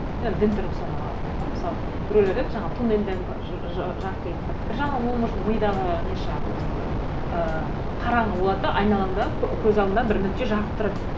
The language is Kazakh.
дін тұрғысынан алатын болса мысалы біреулер айтады жаңағы тоннельден бір жағынан ол может мидағы не шығар өзінің бір ыыы қараңғы болады да айналаңда көз алдында бір нүкте жарық тұрады